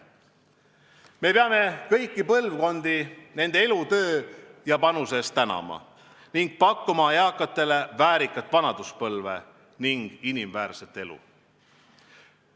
Me peame kõiki põlvkondi nende elutöö ja panuse eest tänama ning pakkuma eakatele väärikat vanaduspõlve ning inimväärset elu.